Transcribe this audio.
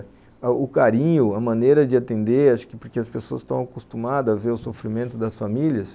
O carinho, a maneira de atender, acho que porque as pessoas estão acostumadas a ver o sofrimento das famílias.